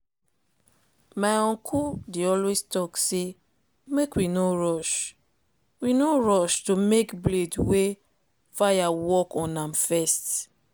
my uncle dey always talk say make we no rush we no rush to make blade wey fire work on am first.